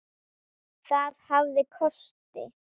Það hafði kosti.